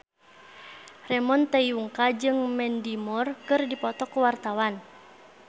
Ramon T. Yungka jeung Mandy Moore keur dipoto ku wartawan